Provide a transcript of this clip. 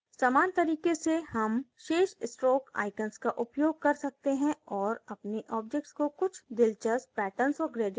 समान तरीके से हम शेष stroke icons का उपयोग कर सकते हैं और अपने objects को कुछ दिलचस्प patterns और gradient outlines दे सकते हैं